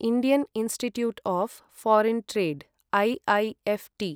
Indian Institute of Foreign Trade IIFT